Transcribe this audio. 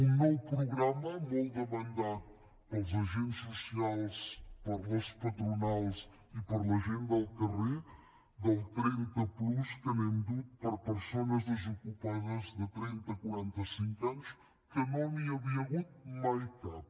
un nou programa molt demandat pels agents socials per les patronals i per la gent del carrer el trenta plus que l’hem dut per a persones desocupades de trenta a quaranta cinc anys que no n’hi havia hagut mai cap